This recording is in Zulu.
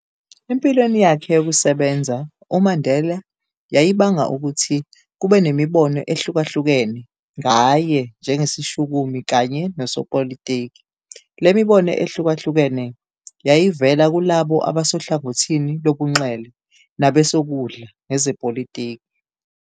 Empilweni yakhe yokusebenza, uMandela, yayibanga ukuthi kube nemibono ehluka-hlukene, ngaye njengesishukumi kanye nosopolitiki, le mibono ehlukahlukene, yayivela kulabo abasohlangothini lobunxele nabesokudla ngezepolitiki.